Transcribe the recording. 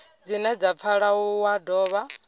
dzine dza pfala wa dovha